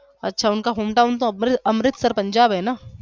अच्छा उनका hometown तो अमृतसर पंजाब है न